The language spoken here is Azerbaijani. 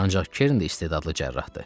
Ancaq Kerin də istedadlı cərrahdır.